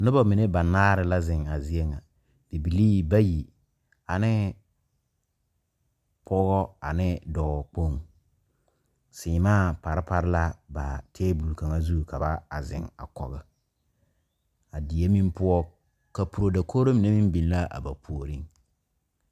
Noba mine banaare la zeŋ a zie ŋa bibilii bayi ane pɔge ane dɔɔkpoŋ seemaa pare pare la ba tabol kaŋ zu ka ba a zeŋ a kɔge a die meŋ poɔ kapuro dakogri mine meŋ be la a ba puoriŋ.